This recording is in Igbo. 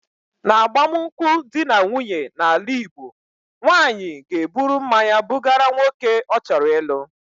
N'agbamụnkwụ dị na nwunye n'ala Igbo, nwanyị ga-eburu mmanya bugara nwoke ọ chọrọ ịlụ.